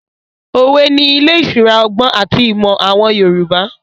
Òwe ni ilé ìṣura ọgbọ́n àti ìmọ̀ àwọn Yorùbá.